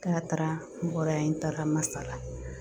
K'a taara n bɔra yen n taara Masala